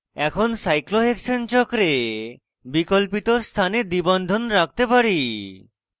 এখন cyclohexane চক্রে বিকল্পিত স্থানে দ্বিবন্ধন রাখতে পারি